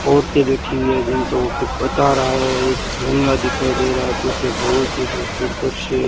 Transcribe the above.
औरतें बैठी हुई हैं जिनको वो कुछ बता रहा है एक झेंगडा दिखाई दे रहा है पीछे बहोत ही खूबसूरत दृश्य --